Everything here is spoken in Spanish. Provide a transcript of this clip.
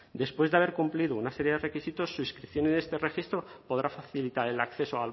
después de haber cumplido una serie de requisitos su inscripción en este registro podrá facilitar el acceso